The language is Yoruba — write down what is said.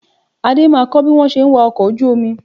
Adé máa kọ́ bí wọn ṣe ń wa ọkọ̀ ojú omi